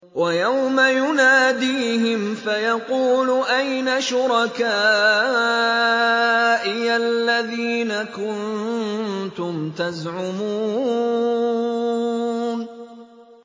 وَيَوْمَ يُنَادِيهِمْ فَيَقُولُ أَيْنَ شُرَكَائِيَ الَّذِينَ كُنتُمْ تَزْعُمُونَ